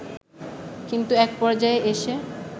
কিন্তু এক পর্যায়ে এসে